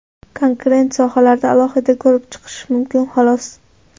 Konkret sohalarni alohida ko‘rib chiqish mumkin xolos.